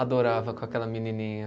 Adorava com aquela menininha.